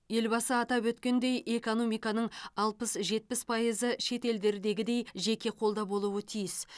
елбасы атап өткендей экономиканың алпыс жетпіс пайызы шет елдердегідей жеке қолда болуы тиіс